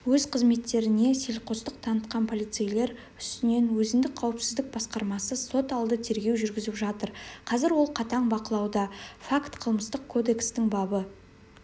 өз қызметтеріне селқостық танытқан полицейлер үстінен өзіндік қауіпсіздік басқармасы соталды тергеу жүргізіп жатыр қазір ол қатаң бақылауда факт қылмыстық кодекстің бабы